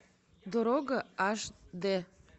дорога аш дэ